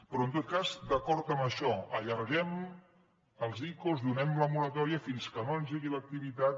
però en tot cas d’acord amb això allarguem els icos donem la moratòria fins que no engegui l’activitat